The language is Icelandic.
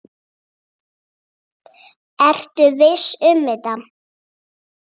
Ertu viss um þetta?